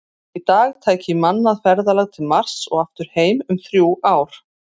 Í dag tæki mannað ferðalag til Mars og aftur heim um þrjú ár.